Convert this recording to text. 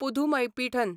Pudhumaipithan